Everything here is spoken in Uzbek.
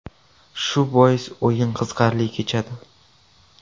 Shu bois o‘yin qiziqarli kechadi.